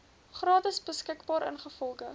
gratis beskikbaar ingevolge